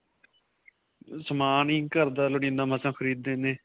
ਸਮਾਨ ਹੀ ਘਰ ਦਾ ਲੋੜੀਂਦਾ ਮਸਾਂ ਖਰੀਦਦੇ ਨੇ.